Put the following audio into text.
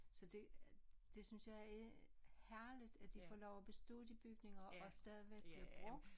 Så det det synes jeg er herligt at de for lov at bestå de bygninger og stadigvæk bliver brugt